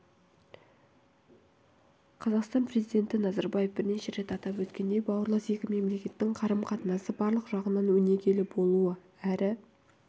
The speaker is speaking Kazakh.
қазақстан президенті назарбаев бірнеше рет атап өткендей бауырлас екі мемлекеттің қарым-қатынасы барлық жағынан өнегелі болуы әрі